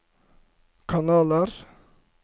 kanaler